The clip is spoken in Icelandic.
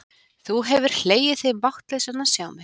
Þú hefðir hlegið þig máttlausan að sjá mig.